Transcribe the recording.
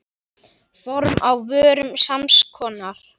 Form á vörum sams konar.